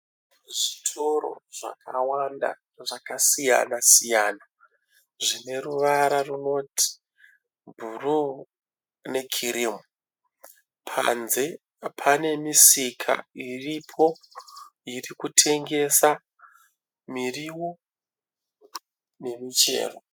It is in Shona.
Zvitoro zvakawanda zvakasiyana siyana zvine ruvara runoti bhuruu nekirimu panze pane misika iripo iri kutengesa miriwo nemichero.